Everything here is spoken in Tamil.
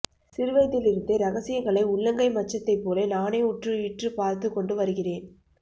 சிறுவயதிலிருந்தே ரகசியங்களை உள்ளங்கை மச்சத்தை போல நானே உற்று ஈற்று பார்த்துக் கொண்டு வருகிறேன்